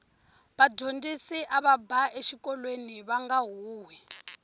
vadyondzisi ava ba exikolweni vanga huhwi